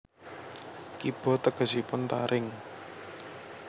Kiba tegesipun taring